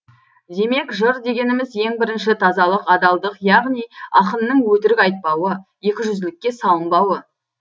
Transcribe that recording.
демек жыр дегеніміз ең бірінші тазалық адалдық яғни ақынның өтірік айтпауы екіжүзділікке салынбауы